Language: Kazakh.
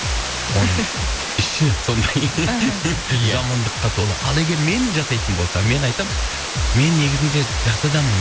оның іші сондай ия жамандыққа толы ал егер мен жасайтын болсам мен айтамын мен негізінде жақсы адаммын